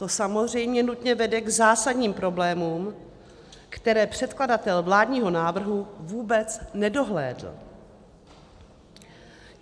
To samozřejmě nutně vede k zásadním problémům, které předkladatel vládního návrhu vůbec nedohlédl.